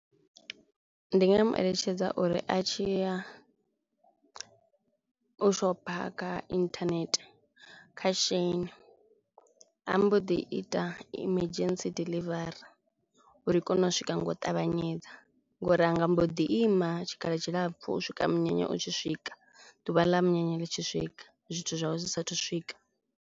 Ndi nga mu eletshedza uri a tshi ya u shopha kha internet kha Shein a mbo ḓi ita emergency delivery uri i kone u swika ngo u ṱavhanyedza ngori anga mbo ḓi ima tshikhala tshilapfu u swika munyanya u tshi swika ḓuvha ḽa munyanya ḽi tshi swika zwithu zwawe zwi saathu u swika.